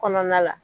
Kɔnɔna la